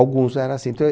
Alguns eram assim. Então,